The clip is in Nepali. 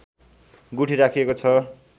गुठी राखिएको छ